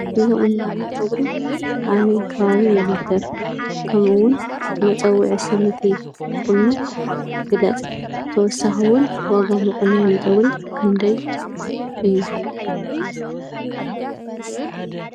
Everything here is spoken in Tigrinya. እዚ ቁናኖ ፀጉሪ ኣበይ ከባቢ ይዝውተር ከመኡ እውን መፀውዒ ስም እቲ ቁኖ ግለፅ ? ብተወሳኺ እውን ዋጋ መቆነኒ ፀጉሪ ክንደይ እዩ ?